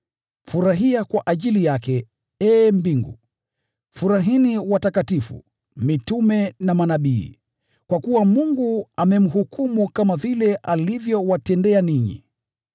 Furahia kwa ajili yake, ee mbingu! Furahini watakatifu, mitume na manabii! Mungu amemhukumu kwa vile alivyowatendea ninyi.’ ”